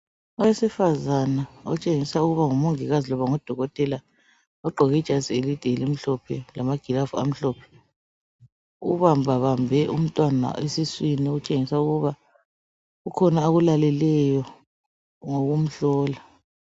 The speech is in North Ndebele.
Owesifazana otshengisa ukuba ngu mongikazi loba ngudokotela ogqoke ijazi elide elimhlophe lama glaves amhlophe ubamba bambe umntwana esiswini okuntshengisa ukuba kukhona akulaleleyo ngokumhlola